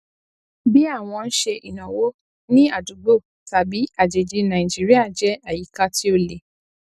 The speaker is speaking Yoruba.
bí àwọn ń ṣe ìnáwó ní àdúgbò tàbí àjèjì nàìjíríà jẹ àyíká tí ó le